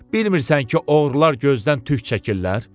Bilmirsən ki, oğrular gözdən tük çəkirlər?